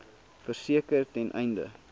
verseker ten einde